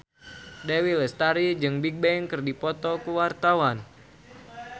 Dewi Lestari jeung Bigbang keur dipoto ku wartawan